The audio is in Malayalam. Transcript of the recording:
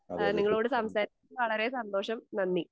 ഏഹ് നിങ്ങളോട് സംസാരിച്ചതിൽ വളരെ സന്തോഷം നന്ദി.